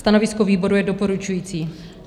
Stanovisko výboru je doporučující.